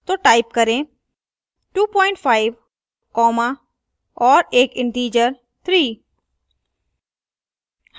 तो type करें 25 comma और एक integer 3